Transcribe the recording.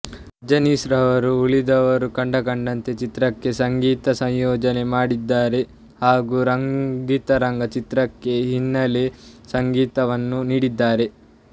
ಅಜನೀಶ್ ಅವರು ಉಳಿದವರು ಕಂಡಂತೆ ಚಿತ್ರಕ್ಕೆ ಸಂಗೀತ ಸಂಯೋಜನೆ ಮಾಡಿದ್ದಾರೆ ಹಾಗು ರಂಗಿತರಂಗ ಚಿತ್ರಕ್ಕೆ ಹಿನ್ನಲೆ ಸಂಗೀತವನ್ನು ನೀಡಿದ್ದಾರೆ